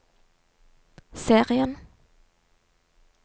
serien